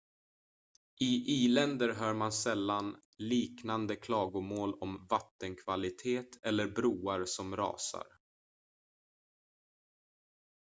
i i-länder hör man sällan liknande klagomål om vattenkvalitet eller broar som rasar